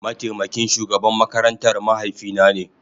Mataimakin shugaban makarantar mahaifina ne.